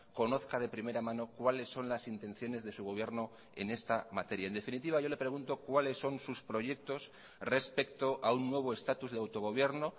conozca de primera mano cuáles son las intenciones de su gobierno en esta materia en definitiva yo le pregunto cuáles son sus proyectos respecto a un nuevo estatus de autogobierno